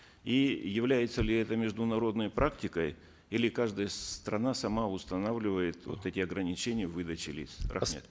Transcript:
и является ли это международной практикой или каждая страна сама устанавливает вот эти ограничения в выдаче лиц рахмет